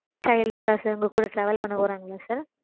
Child க்கா sir? உங்க கூட travel பண்ண போறாங்களா sir?